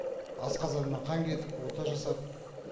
асқазанымнан қан кетіп ота жасап